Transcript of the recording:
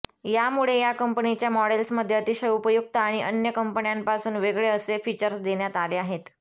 यामुळे या कंपनीच्या मॉडेल्समध्ये अतिशय उपयुक्त आणि अन्य कंपन्यांपासून वेगळे असे फिचर्स देण्यात आले आहेत